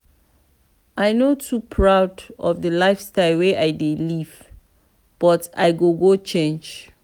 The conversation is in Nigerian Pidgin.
i no too proud of di lifestyle wey i dey live but i go change.